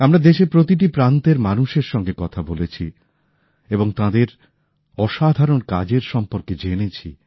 আমরা দেশের প্রতিটি প্রান্তের মানুষের সঙ্গে কথা বলেছি এবং তাঁদের অসাধারণ কাজের সম্পর্কে জেনেছি